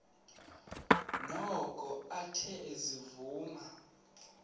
noko athe ezivuma